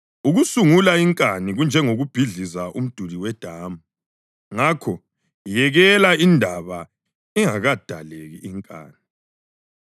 Ukusungula inkani kunjengokubhidliza umduli wedamu; ngakho yekela indaba ingakadaleki inkani.